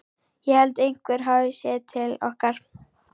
Ég held einhver hafi séð til okkar.